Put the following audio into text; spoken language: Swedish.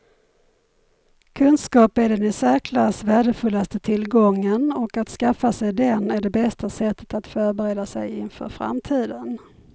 Kunskap är den i särklass värdefullaste tillgången och att skaffa sig den är det bästa sättet att förbereda sig inför framtiden.